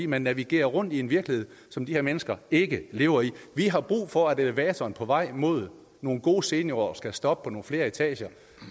man navigerer rundt i en virkelighed som de her mennesker ikke lever i vi har brug for at elevatoren på vej mod nogle gode seniorår skal stoppe på nogle flere etager